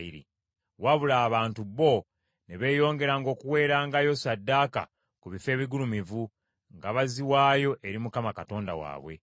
Wabula abantu bo, ne beeyongera okuweerangayo ssaddaaka ku bifo ebigulumivu, nga baziwaayo eri Mukama Katonda waabwe.